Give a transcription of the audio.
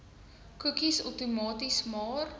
koekies outomaties maar